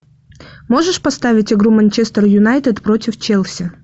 можешь поставить игру манчестер юнайтед против челси